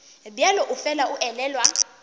bjalo o fela a elelwa